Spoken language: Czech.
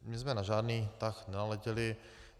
My jsme na žádný tah nenaletěli.